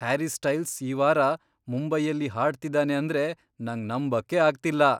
Harry Styles ಈ ವಾರ ಮುಂಬೈಯಲ್ಲಿ ಹಾಡ್ತಿದಾನೆ ಅಂದ್ರೆ ನಂಗ್ ನಂಬಕ್ಕೇ ಆಗ್ತಿಲ್ಲ.